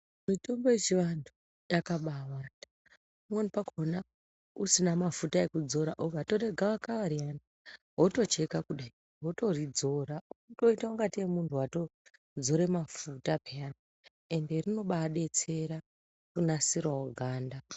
Mitombo yechivantu yakaba wanda pamweni pakona usina mafuta ekudzora. Ukatore gavakava riyani votocheka kudai votoridzora unoita kunge tee muntu vatodzora mafuta peyani ende rinobabetsera kunasiravo ganga.